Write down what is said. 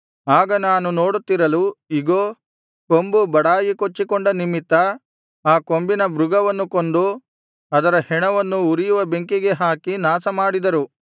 ಆಗ ನಾನು ನೋಡುತ್ತಿರಲು ಇಗೋ ಕೊಂಬು ಬಡಾಯಿ ಕೊಚ್ಚಿಕೊಂಡ ನಿಮಿತ್ತ ಆ ಕೊಂಬಿನ ಮೃಗವನ್ನು ಕೊಂದು ಅದರ ಹೆಣವನ್ನು ಉರಿಯುವ ಬೆಂಕಿಗೆ ಹಾಕಿ ನಾಶಮಾಡಿದರು